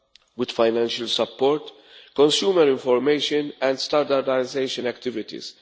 cars, with financial support, consumer information and standardisation activities.